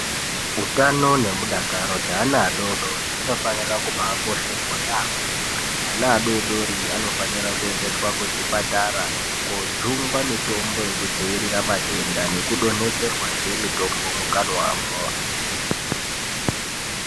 Utano nemudakaro weana adodori zvinofanira kubaakosheswa yaambo. Ana adodori anofanire kuendeswa kuzvipatara kojungwa mitombo yekudzivirira matenda nekudonhedzerwazve mutombo mukanwamwo.